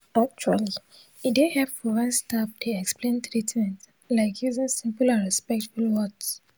actually e dey hepful wen staf dey explain treatment like using simple and respectful words.